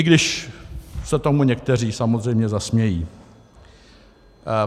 I když se tomu někteří samozřejmě zasmějí.